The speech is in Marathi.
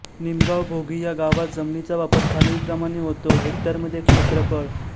निमगाव भोगी ह्या गावात जमिनीचा वापर खालीलप्रमाणे होतो हेक्टरमध्ये क्षेत्रफळ